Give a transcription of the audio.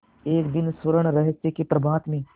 एक दिन स्वर्णरहस्य के प्रभात में